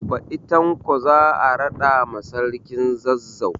Baɗi Tanko za a raɗa ma sarkin Zazzau